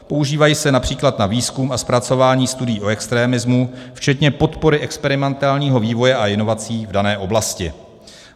Používají se například na výzkum a zpracování studií o extremismu včetně podpory experimentálního vývoje a inovací v dané oblasti.